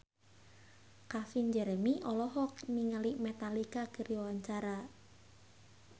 Calvin Jeremy olohok ningali Metallica keur diwawancara